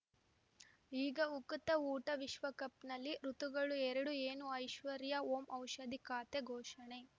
ಈಗ ಉಕುತ ಊಟ ವಿಶ್ವಕಪ್‌ನಲ್ಲಿ ಋತುಗಳು ಎರಡು ಏನು ಐಶ್ವರ್ಯಾ ಓಂ ಔಷಧಿ ಖಾತೆ ಘೋಷಣೆ